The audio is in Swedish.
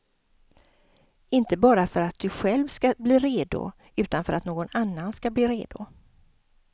Inte bara för att du själv ska bli redo, utan för att någon annan ska bli redo.